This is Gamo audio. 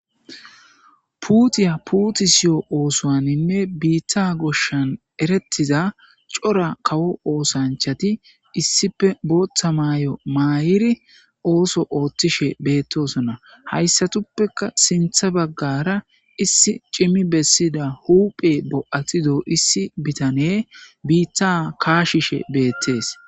Puutiya puuti siyo oosowaninne biitta goshshan erettiza cora kawo oosanchati issipe bootta maayo maayiri ooso ooththishe beettosonna hayssatuppeka sintha baggara issi cimi bessida huuphe bo'atido issi bitane biitta kaashishe beettees.